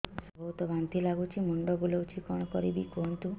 ସାର ବହୁତ ବାନ୍ତି ଲାଗୁଛି ମୁଣ୍ଡ ବୁଲୋଉଛି କଣ କରିବି କୁହନ୍ତୁ